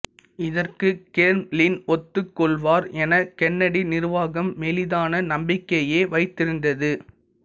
இதற்கு கேர்ம்ளின் ஒத்துக்கொள்வார் என கென்னடி நிர்வாகம் மெலிதான நம்பிக்கையையே வைத்திருந்தது